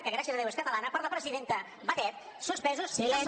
que gràcies a déu és catalana per la presidenta batet suspesos de sou